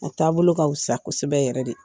A taabolo ka fisa kosɛbɛ yɛrɛ de